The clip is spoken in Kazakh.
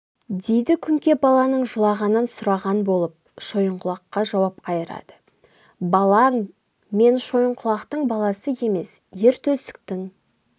дейді күңке баланың жылағанын сұраған болып шойынқұлаққа жауап қайырады балаң мен шойынқұлақтың баласы емес ер төстіктің